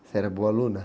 Você era boa aluna?